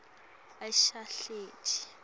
asahleti